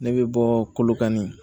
Ne bɛ bɔ kolokani